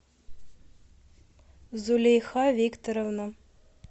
зулейха викторовна